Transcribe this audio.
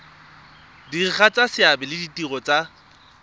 diragatsa seabe le ditiro tsa